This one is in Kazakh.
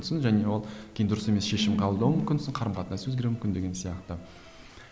және ол кейін дұрыс емес шешім қабылдамауың мүмкінсің қарым қатынас өзгеруі мүмкін деген сияқты